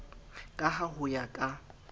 ka ha ho ya ka